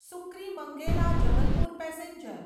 સુક્રીમંગેલા Jabalpur passenger